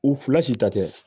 U fila si tɛ